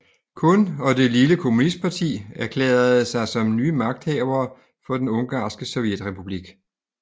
Kun og det lille kommunistparti erklærede sig som nye magthavere for Den ungarske sovjetrepublik